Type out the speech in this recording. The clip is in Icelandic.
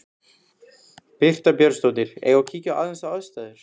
Birta Björnsdóttir: Eigum við að kíkja aðeins á aðstæður?